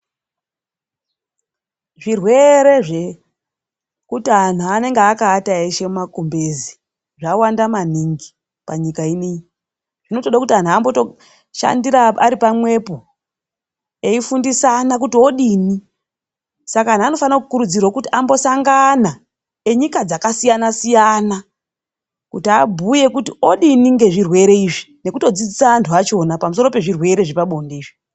Zvirwere zvekuti antu anenge akaata eshe mumakumbezi zvawanda maningi panyika ino iyi. Zvinotoda kuti antu ambotoshandira ari pamwepo eifundisana kuti odini. Saka antu anofanira kukurudzirwa kuti ambosangana enyika dzakasiyana -siyana kuti abhuye kuti odini ngezvirwere izvi nekutodzidzisa antu vachona pamusoro pezvirwere zvepabonde izvi.